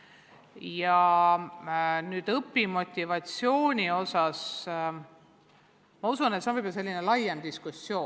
Ja mis puudutab õpimotivatsiooni, siis ma usun, et see teema väärib võib-olla laiemat diskussiooni.